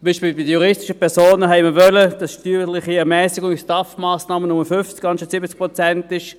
Bei den juristischen Personen wollten wir zum Beispiel, dass die steuerliche Ermässigung bei den STAF-Massnahmen nur 50 statt 70 Prozent beträgt.